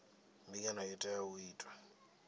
mbingano i tea u itwa